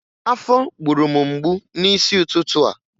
Afọ gburu m mgbu n'isi ụtụtụ a